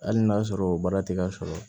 Hali n'a sɔrɔ o baara tɛ ka sɔrɔ